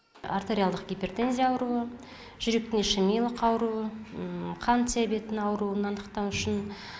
артериалдық гипертензия ауруы жүректің ишемиялық ауруын қант диабеті ауруын анықтау үшін